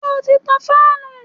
Ṣé o ti tan fáànù?